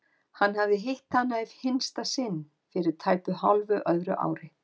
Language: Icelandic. Hann hafði hitt hana í hinsta sinn fyrir tæpu hálfu öðru ári.